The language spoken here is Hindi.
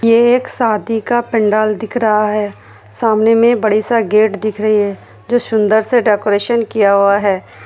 ये एक शादी का पंडाल दिख रहा है सामने मे बड़े सा गेट दिख रही है जो सुंदर सा डेकरैशन किया हुआ है।